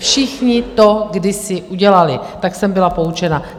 Všichni to kdysi udělali, tak jsem byla poučena.